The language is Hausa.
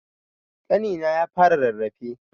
Ƙanina ya fara rarrafe.